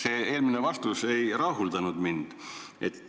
Teie eelmine vastus ei rahuldanud mind.